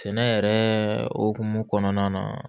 Sɛnɛ yɛrɛ hokumu kɔnɔna na